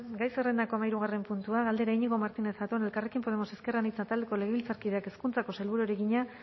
gai zerrendako hamahirugarren puntua galdera iñigo martínez zatón elkarrekin podemos ezker anitza taldeko legebiltzarkideak hezkuntzako sailburuari egina